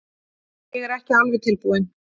Ég er ekki alveg tilbúinn.